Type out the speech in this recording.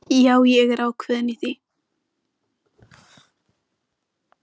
Þarna er fólki auðvitað rétt lýst.